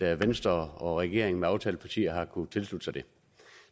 at venstre og regeringen med aftalepartier har kunnet tilslutte sig det